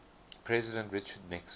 president richard nixon